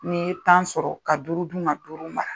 N'i ye tan sɔrɔ ka duuru duma duuru mara